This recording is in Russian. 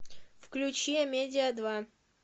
включи амедиа два